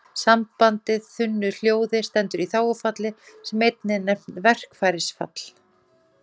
Sambandið þunnu hljóði stendur í þágufalli sem einnig er nefnt verkfærisfall.